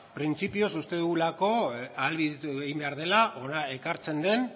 printzipioz uste dugulako ahalbidetu egin behar dela hona ekartzen den